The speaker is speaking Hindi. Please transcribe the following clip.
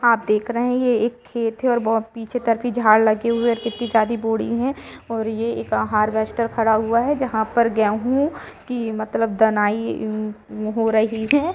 आप देख रहे हैं यह एक खेत हैऔर बहुत पीछे करके झाड़ लगे हुए कितनी जायदी बॉडी है और यह एक हार्वेस्टर खड़ा हुआ है जहां पर गेहूं की मतलब दानाई हो रही है ।